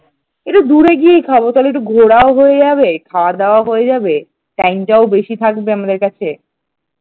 একটু দূরে গিয়েই খাব তাহলে একটু ঘোরাও হয়ে যাবে খাওয়া-দাওয়াও হয়ে যাবে time টাও বেশি থাকবে আমাদের কাছে।